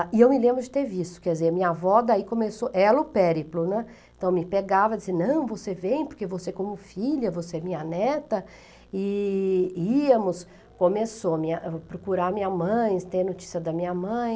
E eu me lembro de ter visto, quer dizer, minha avó daí começou, ela o périplo, né, então me pegava e dizia, não, você vem porque você é como filha, você é minha neta, e íamos, começou a procurar minha mãe, ter notícia da minha mãe.